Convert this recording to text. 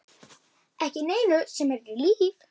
Ekki neinu sem heitir líf.